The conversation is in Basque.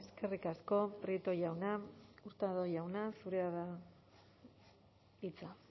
eskerrik asko prieto jauna hurtado jauna zurea da hitza